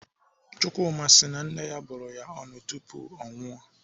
Chukwuma si na nne ya bụrụ ya ọnụ tupu o nwụọ.